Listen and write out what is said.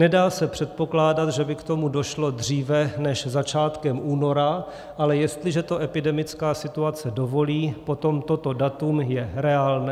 Nedá se předpokládat, že by k tomu došlo dříve než začátkem února, ale jestliže to epidemická situace dovolí, potom toto datum je reálné.